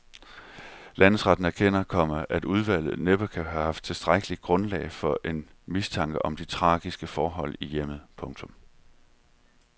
Landsretten erkender, komma at udvalget næppe kan have haft tilstrækkelig grundlag for en mistanke om de tragiske forhold i hjemmet. punktum